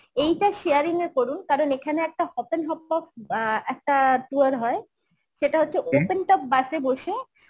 এইটা sharing এ করুন কারণ এখানে একটা হপপেন হপ অ্যাঁ একটা tour হয় সেটা হচ্ছে open top bus এ বসে